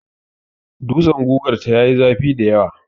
Dutsen gugar ta yi zafi dayawa.